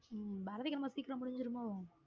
உம் பாரதி கண்ணம்மா சீக்கிரம் முடிஞ்சிருமோ?